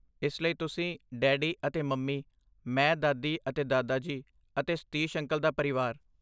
ਇਸ ਲਈ ਤੁਸੀਂ, ਡੈਡੀ ਅਤੇ ਮੰਮੀ, ਮੈਂ, ਦਾਦੀ ਅਤੇ ਦਾਦਾ ਜੀ ਅਤੇ ਸਤੀਸ਼ ਅੰਕਲ ਦਾ ਪਰਿਵਾਰ।